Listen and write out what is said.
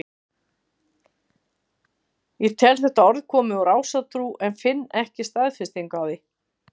Ég tel þetta orð komið úr ásatrú en finn ekki staðfestingu á því.